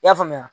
I y'a faamuya